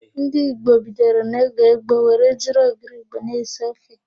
Ndị Igbo bidoro n'oge gboo were jiri ogiri Igbo na-esi ofe.